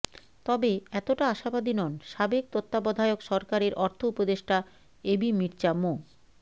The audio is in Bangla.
তবে এতটা আশাবাদী নন সাবেক তত্ত্বাবধায়ক সরকারের অর্থ উপদেষ্টা এবি মির্জ্জা মো